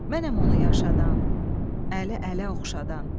Mənəm onu yaşadan, əli ələ oxşadan.